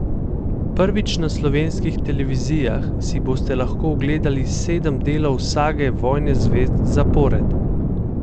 Prvič na slovenskih televizijah si boste lahko ogledali sedem delov sage Vojne zvezd zapored.